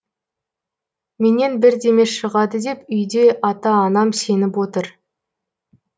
менен бірдеме шығады деп үйде ата анам сеніп отыр